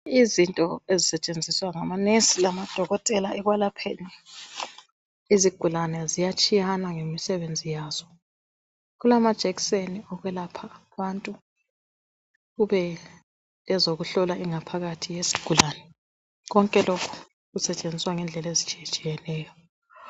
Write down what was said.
Izinto ezisetshenziswa ngonesi lamadokotela ekwelapheni izigulane ziyatshiyana ngemisebenzi yazo. Kulamajekiseni okwelapha abantu, kubelezokuhlola ingaphakathi yezigulane, konke lokhu kusetshenziswa ngendlela ezitshiyetshiyeneyo.